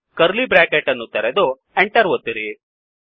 curly bracket ಅನ್ನು ತೆರೆದು Enter enter ಒತ್ತಿರಿ